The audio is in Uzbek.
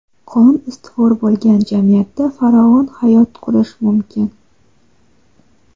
Qonun ustuvor bo‘lgan jamiyatda farovon hayot qurish mumkin.